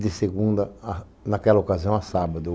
De segunda, naquela ocasião, a sábado.